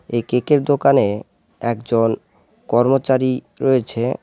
এই কেক -এর দোকানে একজন কর্মচারী রয়েছে।